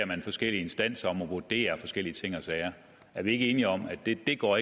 man forskellige instanser om at vurdere forskellige ting og sager er vi ikke enige om at det ikke går